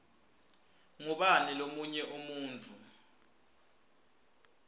ngubani lomunye umuntfu